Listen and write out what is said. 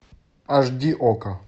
аш ди окко